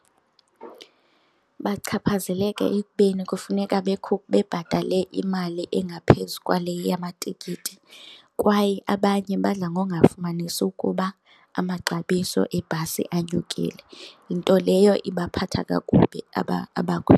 Bachaphazeleka ekubeni kufuneka bebhatele imali engaphezu kwale yamatikiti kwaye abanye badla ngongafumanisi ukuba amaxabiso ebhasi anyukile, nto leyo ibaphatha kakubi .